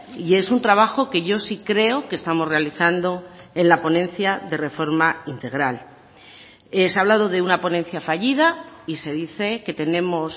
y es un trabajo que yo sí creo que estamos realizando en la ponencia de reforma integral se ha hablado de una ponencia fallida y se dice que tenemos